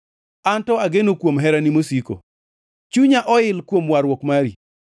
Anto ageno kuom herani mosiko; chunya oil kuom warruok mari.